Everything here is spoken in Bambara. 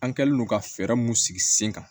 An kɛlen don ka fɛɛrɛ mun sigi sen kan